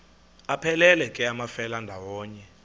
aphelela ke amafelandawonye